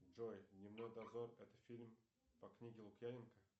джой дневной дозор это фильм по книге лукьяненко